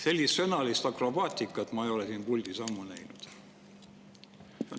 Sellist sõnalist akrobaatikat ma ei ole siin puldis ammu näinud.